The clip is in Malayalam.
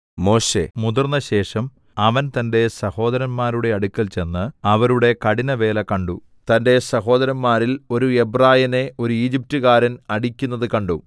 മോശെ മുതിർന്നശേഷം അവൻ തന്റെ സഹോദരന്മാരുടെ അടുക്കൽ ചെന്ന് അവരുടെ കഠിനവേല കണ്ടു തന്റെ സഹോദരന്മാരിൽ ഒരു എബ്രായനെ ഒരു ഈജിപ്ത്കാരൻ അടിക്കുന്നത് കണ്ടു